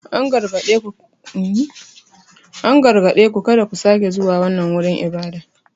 An gargaɗe ku "kada ku sake zuwa wannan wurin ibada!"